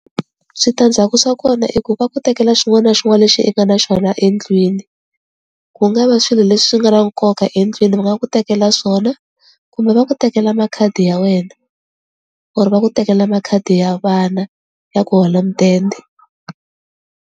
Switandzhaku swa kona i ku va ku tekela xin'wana na xin'wana lexi i nga na xona endlwini, ku nga va swilo leswi nga na nkoka endlwini va nga ku tekela swona kumbe va ku tekela makhadi ya wena or va ku tekela makhadi ya vana ya ku hola mudende.